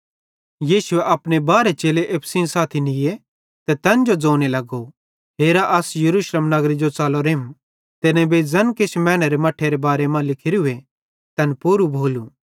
यीशुए अपने बारहे चेले एप्पू सेइं साथी निये ते तैन ज़ोने लगो हेरा अस यरूशलेम नगरे जो च़लोरेम ते नेबेईं ज़ैन किछ मैनेरे मट्ठेरे बारे मां लिखोरूए तैन पूरू भोलू